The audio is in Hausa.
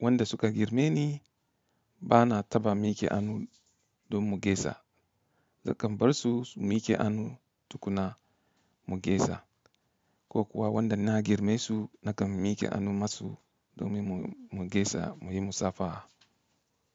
wanda suka girme ni bana taba miki hannu don mu gaisa, nakan bar su su miki hannu tukuna mu gaisa. Ko kuwa wanda na girme su nakan miki hannu masu domin mu gaisa muyi musafaha.